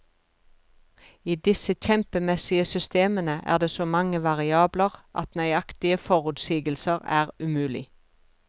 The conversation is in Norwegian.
I disse kjempemessige systemene er det så mange variabler at nøyaktige forutsigelser er umulig.